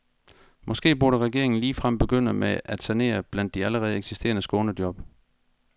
Måske burde regeringen ligefrem begynde med at sanere blandt de allerede eksisterende skånejob.